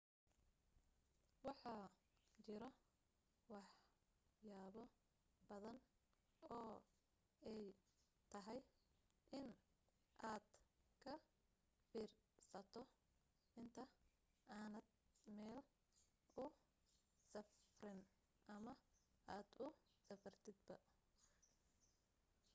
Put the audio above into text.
waxaa jiro wax yaabo badan oo ay tahay in aad ka fiirsato inta aadan meel usafrin ama aad usafartaba